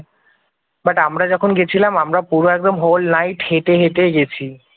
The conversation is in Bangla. বাট আমরা যখন গেছিলাম আমরা পুরো একদম হোল নাইট হেঁটে হেঁটে গেছি